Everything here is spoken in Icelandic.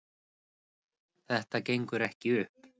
Þetta gengur ekki upp